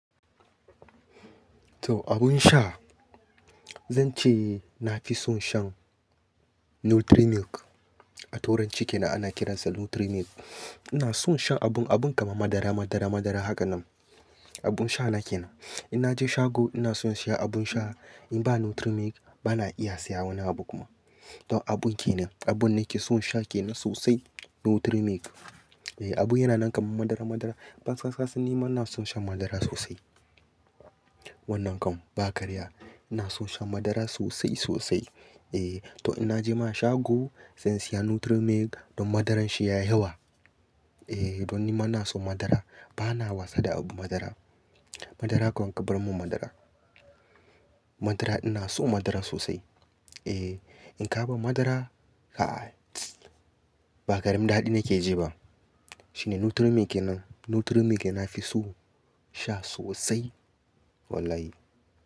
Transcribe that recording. To abun sha, zan ce na fi son shan Nutri Milk. A tauranci ke nan ana kiransa Nutri Milk. Ina son shan abun, abun kamar madara, madara, madara hakan nan. Abun sha na ke nan. In naje shago ina son siya abun sha in ba Nutri Milk bana iya siya wani abu kuma. To abun ke nan, abun nake son sha ke nan sosai Nutri Milk. E, abun yana nan kamar madara, madara. Ban sasansu ni mana son shan madara sosai. Wannan kam ba karya. Ina son shan madara sosai sosai. E, to in naje mana shago zan siya Nutri Milk don madaran shi yayi yawa. E, don ni mana son madara bana wasa da abu madara. Madara kawai kabarmun madara. Madara ina so madara sosai. E, in ka ban madara, a, ba karim da haɗi nake je ba. Shine Nutri Milk kenan. Nutri Milk na fi so sha sosai. Wallahi.